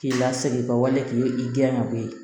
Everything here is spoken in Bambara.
K'i lasigi i ka wale k'i den ka ko ye